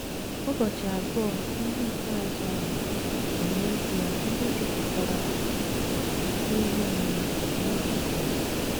Ụbọchị abụọ ndị ikpeazụ ahụ bụ n’ezie ndị jupụtara n’ihe omume nye Jisọs.